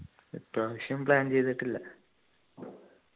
ഇപ്പ്രാവശ്യം plan ചെയ്തിട്ടില്ല